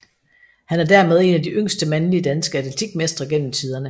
Han er dermed en af de yngste mandlige danske atletikmestre gennem tiderne